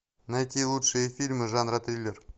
найти лучшие фильмы жанра триллер